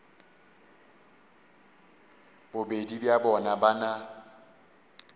bobedi bja bona ba na